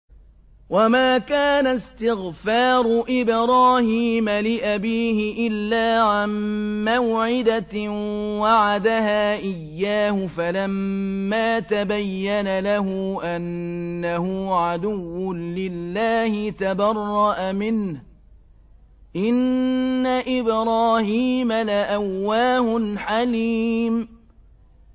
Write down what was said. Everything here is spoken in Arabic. وَمَا كَانَ اسْتِغْفَارُ إِبْرَاهِيمَ لِأَبِيهِ إِلَّا عَن مَّوْعِدَةٍ وَعَدَهَا إِيَّاهُ فَلَمَّا تَبَيَّنَ لَهُ أَنَّهُ عَدُوٌّ لِّلَّهِ تَبَرَّأَ مِنْهُ ۚ إِنَّ إِبْرَاهِيمَ لَأَوَّاهٌ حَلِيمٌ